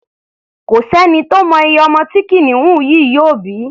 Kò sẹ́ni tó mọ iye ọmọ tí kìnìún yìí yóò bí.